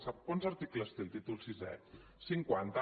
sap quants articles té el títol vi cinquanta